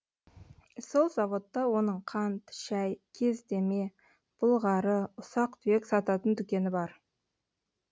сол заводта оның қант шай кездеме бұлғары ұсақ түйек сататын дүкені бар